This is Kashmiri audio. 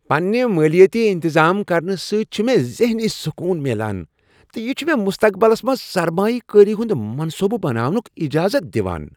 پننہ مٲلیٲتی انتظام کرنہٕ سۭتۍ چھ مےٚ ذہنی سکون میلان تہٕ یہ چھ مےٚ مستقبلس منٛز سرمایہ کٲری ہنٛد منصوبہٕ بناونک اجازت دوان۔